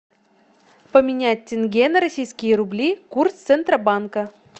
поменять тенге на российские рубли курс центробанка